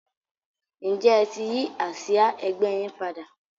ǹjẹ́ ẹ ti yí àsìá ẹgbẹ́ yín padà?